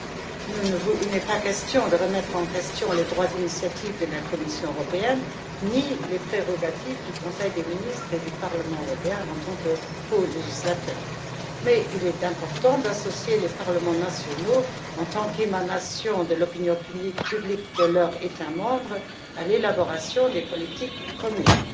Il ne s'agit pas de remettre en question le droit d'initiative de la Commission européenne, ni les prérogatives du Conseil des ministres et du Parlement européen en tant que colégislateurs, mais il est important d'associer les parlements nationaux, en tant qu'émanation de l'opinion publique de leur État membre, à l'élaboration des politiques communes.